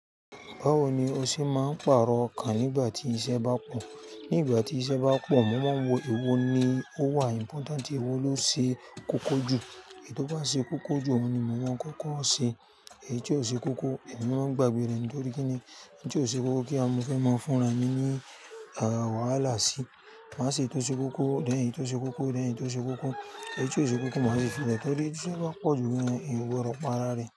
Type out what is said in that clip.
Báwo ni o ṣe máa ń pàrọ̀ okan nígbà tí iṣẹ́ bá pọ̀? Nígbà tí iṣẹ́ bá pọ̀, mo máa ń wo èwo ni ó wà important, èwo ló ṣe kókó jù. Èyí tó bá ṣe kókó jù, òun ni mo máa ń kókó ṣe. Èyí tí ò ṣe kókó, èmi máa ń gbàgbé rẹ̀ nítorí kí ni? Ẹni tí ò ṣe kókó kí a mọ fẹ́ máa ń fúnra ní, à wàhalá sì. Má ṣe èyí tó ṣe kókó, then eyi tó ṣe kókó, then eyi tó ṣe kókó. Èyí tí ò ṣe kókó, má ṣi fi le torí iṣẹ́ páa pọ̀ jù gan, eeyan ogbodo para rẹ̀